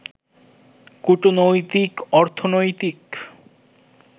কূটনৈতিক, অর্থনৈতিক